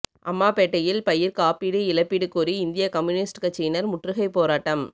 அம்மாப்பேட்டையில் பயிா் காப்பீடு இழப்பீடு கோரிஇந்திய கம்யூனிஸ்ட் கட்சியினா் முற்றுகை போராட்டம்